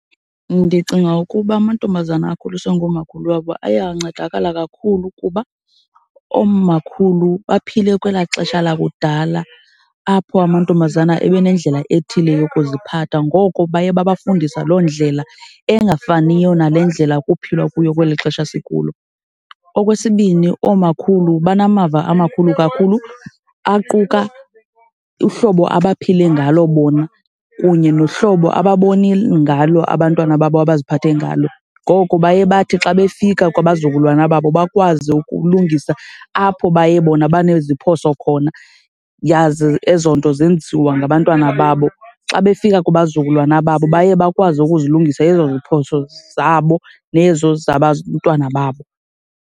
Ndicinga ukuba amantombazana akhuliswa ngoomakhulu wabo aye ancedakala kakhulu kuba oomakhulu baphile kwelaa xesha lakudala apho amantombazana ebe nendlela ethile yokuziphatha. Ngoko baye babafundisa loo ndlela engafaniyo nale ndlela kuphilwa kuyo kweli xesha sikulo. Okwesibini, oomakhulu banamava amakhulu kakhulu aquka uhlobo abaphile ngalo bona kunye nohlobo ababone ngalo abantwana babo abaziphathe ngalo. Ngoko baye bathi xa befika kwabazukulwana babo bakwazi ukulungisa apho baye bona baneziphoso khona yaze ezo nto zenziwa ngabantwana babo. Xa befika kubazukulwana babo baye bakwazi ukuzilungisa ezo ziphoso zabo nezo zabantwana babo.